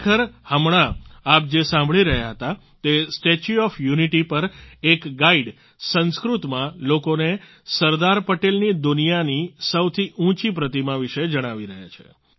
ખરેખર હમણાં આપ જે સાંભળી રહ્યા હતા તે સ્ટેચ્યુ ઓફ યુનિટી પર એક ગાઈડ સંસ્કૃતમાં લોકોને સરદાર પટેલની દુનિયાની સૌથી ઉંચી પ્રતિમા વિશે જણાવી રહ્યા છે